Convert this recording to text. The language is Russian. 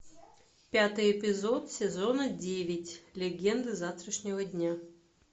пятый эпизод сезона девять легенды завтрашнего дня